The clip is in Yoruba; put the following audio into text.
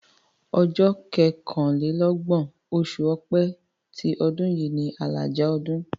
Ọjọ́ kọkànlélọ́gbọ̀n, oṣù Ọ̀pẹ ti ọdún yìí ni àlàjá ọdún.